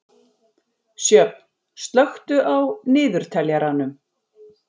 Sjöfn, slökktu á niðurteljaranum.